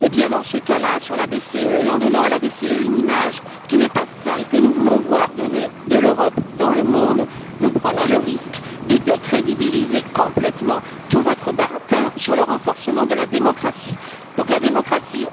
Dans ce cas là, s'agissant de la BCE, et en donnant à cette dernière une image qui n'est pas celle que nous voulons voir donner de l'Europe dans le monde, vous prendrez le risque de décrédibiliser complètement tout votre baratin sur le renforcement de la démocratie.